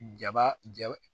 Jaba ja